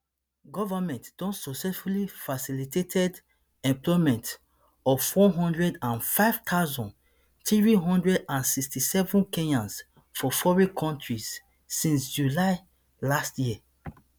government don successfully facilitated employment of one hundred and five thousand, three hundred and sixty-seven kenyans for foreign kontri since july last year